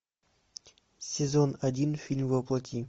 сезон один фильм во плоти